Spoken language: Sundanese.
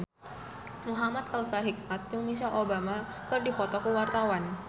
Muhamad Kautsar Hikmat jeung Michelle Obama keur dipoto ku wartawan